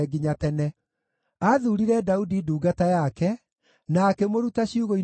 Aathuurire Daudi ndungata yake na akĩmũruta ciugũ-inĩ cia ngʼondu;